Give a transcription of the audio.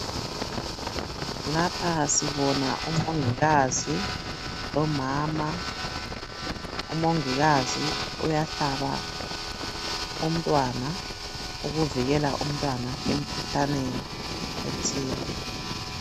Lapha sibona umongikazi lomama, umongikazi uyahlaba umntwana ukuvikela umntwana emkhuhlaneni ethile.